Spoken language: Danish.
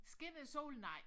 Skinner solen nej